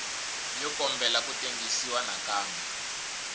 yo kombela ku tengisiwa nakambe